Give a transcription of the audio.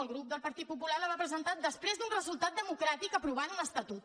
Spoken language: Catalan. el grup del partit popular la va presentar després d’un resultat democràtic que aprovava un estatut